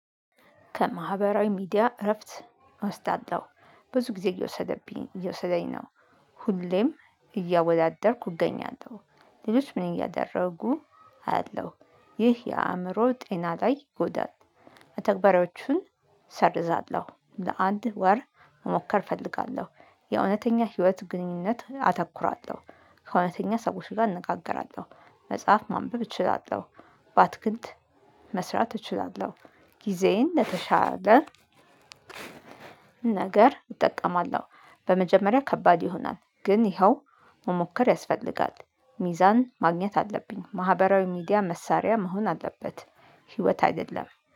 ከማህበራዊ ሚዲያ እረፍት አስታለው። ብዙ ጊዜ እየወሰደብኝ እየወሰደኝ ነው። ሁሌም እያወዳደርኩ እገኛለው። ልጆች ምን እያደረጉ አያለው ይህ የአእምሮ ጤና ላይ ይጎዳል። ተግባሪዎቹን ሰርዛለሁ ፥ለአንድ ወር መሞከር እፈልጋለሁ፥ የእውነተኛ ህይወት ግንኙነት አተኩራለሁ፥ ከእውነተኛ ሰዎች ጋር እነጋገራለው፥ መጽሐፍ ማንበብ እችላለው፥ ባትክልት መስራት እችላለሁ። ጊዜዬን ለተሻለ ነገር እጠቀማለሁ። በመጀመሪያ ከባድ ይሆናል ግን ይኸው መሞከር ያስፈልጋል፥ ሚዛን ማግኘት አለብኝ፥ ማህበራዊ ሚዲያ መሳሪያ መሆን አለበት፤ ህይወት አይደለም።